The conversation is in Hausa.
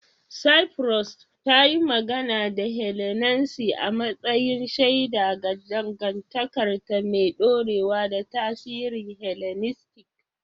Cyprus, ta yi magana da Hellenanci a matsayin shaida ga dangantakarta mai ɗorewa da tasirin Hellenistic